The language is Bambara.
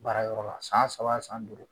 Baara yɔrɔ la san saba san